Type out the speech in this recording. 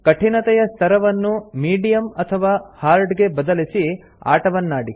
ಕಠಿನತೆಯ ಸ್ತರವನ್ನು ಮೀಡಿಯಮ್ ಅಥವಾ ಹಾರ್ಡ್ ಗೆ ಬದಲಿಸಿ ಆಟವನ್ನಾಡಿ